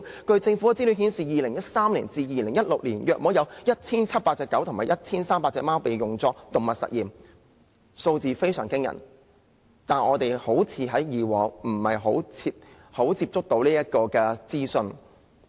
據政府的資料顯示 ，2013 年至2016年約有 1,700 隻狗和 1,300 隻貓被用作動物實驗，數字非常驚人，但我們以往好像很少接觸到這個資訊。